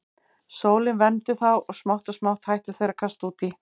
Sólin vermdi þá og smátt og smátt hættu þeir að kasta út í.